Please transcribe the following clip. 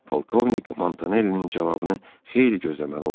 Polkovnik Montanellinin cavabını xeyli gözləməli oldu.